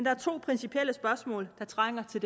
er to principielle spørgsmål der trænger til